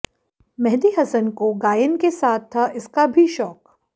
मेहंदी हसन को गायन के साथ था इसका भी शौक